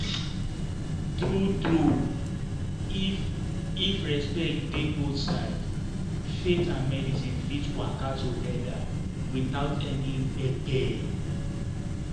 true true if if respect dey both sides faith and medicine fit waka together without any gbege.